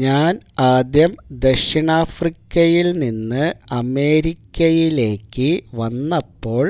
ഞാൻ ആദ്യം ദക്ഷിണാഫ്രിക്കയിൽ നിന്ന് അമേരിക്കയിലേക്ക് വന്നപ്പോൾ